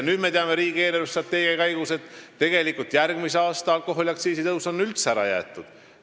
Nüüd me teame, riigi eelarvestrateegia arutelude käigus, et järgmise aasta alkoholiaktsiisi tõus on üldse ära jäetud.